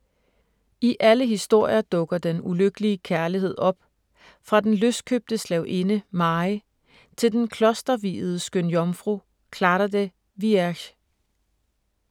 I alle historier dukker den ulykkelige kærlighed op, fra den løskøbte slavinde Mary til den klosterviede skønjomfru Clara de Vierge.